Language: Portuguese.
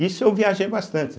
Isso eu viajei bastante.